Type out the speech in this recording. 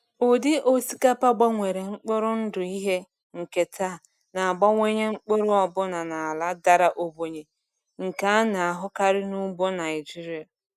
Ụdị osikapa gbanwere mkpụrụ ndụ ihe nketa na-abawanye mkpụrụ ọbụna n’ala dara ogbenye nke a na-ahụkarị n’ugbo Naijiria.